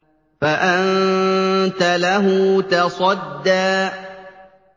فَأَنتَ لَهُ تَصَدَّىٰ